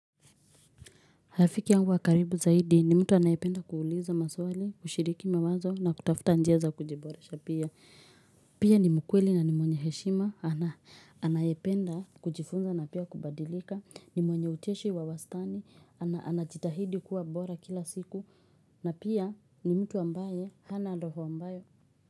Rafiki yangu wa karibu zaidi ni mtu anayependa kuuliza maswali, kushiriki mawazo na kutafuta njia za kujiboresha pia. Pia ni mkweli na ni mwenye heshima, anayependa kujifunza na pia kubadirika, ni mwenye ucheshi wa wastani, anajitahidi kuwa bora kila siku na pia ni mtu ambaye hana roho mbaya.